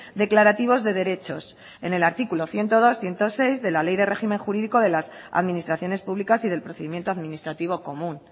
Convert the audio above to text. declarativos de derechos en el artículo ciento dos ciento seis de la ley de régimen jurídico de las administraciones publicas y del procedimiento administrativo común